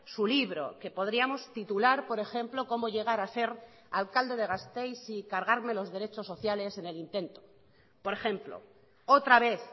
su libro que podríamos titular por ejemplo cómo llegar a ser alcalde de gasteiz y cargarme los derechos sociales en el intento por ejemplo otra vez